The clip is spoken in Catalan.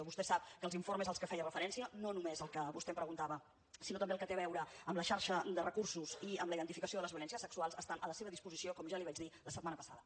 vostè sap que els informes als que feia referència no només el que vostè em preguntava sinó també el que té a veure amb la xarxa de recursos i amb la identificació de les violències sexuals estan a la seva disposició com ja li vaig dir la setmana passada